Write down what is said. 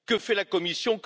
Que fait la Commission?